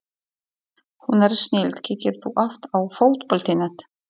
Hún er snilld Kíkir þú oft á Fótbolti.net?